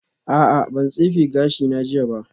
A'a ban tsefe gashina jiya ba